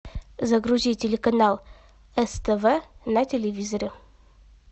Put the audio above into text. загрузи телеканал ств на телевизоре